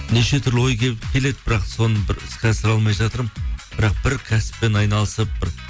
неше түрлі ой келіп келеді бірақ соны бір іске асыра алмай жатырмын бірақ бір кәсіппен айналысып бір